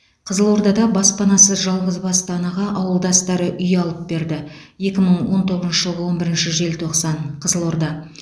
қызылордада баспанасыз жалғызбасты анаға ауылдастары үй алып берді екі мың он тоғызыншы жылғы он бірінші желтоқсан қызылорда